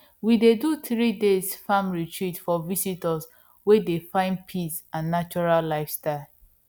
we dey do threeday farm retreat for visitors wey dey find peace and natural lifestyle